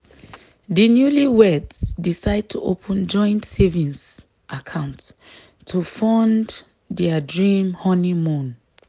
di newlyweds decide to open joint savings account to fund dia dream honeymoon.